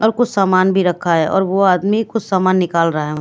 और कुछ सामान भी रखा है और वो आदमी कुछ सामान निकाल रहा--